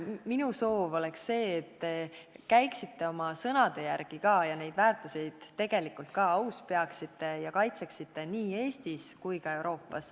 Minu soov on, et te käiksite oma sõnade järgi ja neid väärtuseid tegelikult ka aus peaksite ja kaitseksite nii Eestis kui ka laiemalt Euroopas.